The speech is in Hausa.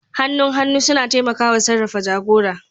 Hannun hannu suna taimakawa sarrafa jagora.